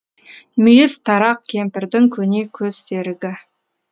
мүйіз тарақ кемпірдің көне көз серігі